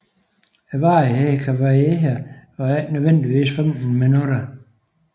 Varigheden kan variere og er ikke nødvendigvis 15 minutter